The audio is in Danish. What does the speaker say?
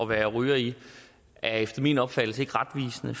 være ryger i er efter min opfattelse ikke retvisende